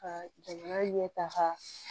Ka jamana ɲɛ tan ka